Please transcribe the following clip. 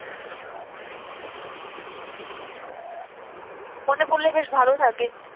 মনে পড়লে বেশ ভালো লাগে,